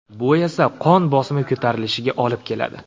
Bu esa qon bosimi ko‘tarilishiga olib keladi.